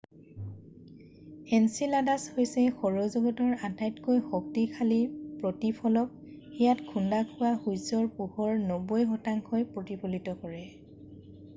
Enceladus হৈছে সৌৰ জগতৰ আটাইতকৈ শক্তিশালী প্ৰতিফলক ইয়াত খুন্দা খোৱা সূৰ্যৰ পোহৰৰ 90শতাংশ ই প্ৰতিফলিত কৰে